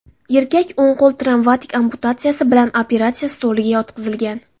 Erkak o‘ng qo‘l travmatik amputatsiyasi bilan operatsiya stoliga yotqizilgan.